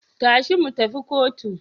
Tashi mu tafi kotu.